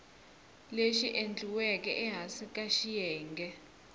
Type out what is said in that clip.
lexi endliweke ehansi ka xiyenge